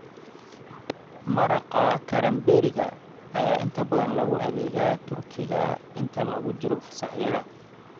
Maraqa karamberriga ayaa inta badan lagu adeegaa turkiga inta lagu jiro fasaxyada.